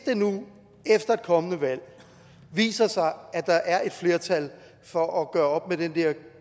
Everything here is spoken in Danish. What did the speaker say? nu det efter et kommende valg viser sig at der er et flertal for at gøre op med den der